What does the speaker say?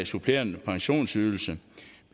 supplerende pensionsydelse